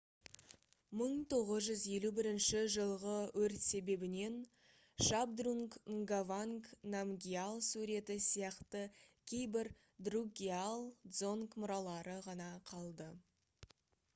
1951 жылғы өрт себебінен шабдрунг нгаванг намгьял суреті сияқты кейбір друкгиал дзонг мұралары ғана қалды